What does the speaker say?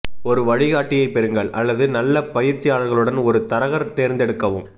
ஒரு வழிகாட்டியைப் பெறுங்கள் அல்லது நல்ல பயிற்சியாளர்களுடன் ஒரு தரகர் தேர்ந்தெடுக்கவும்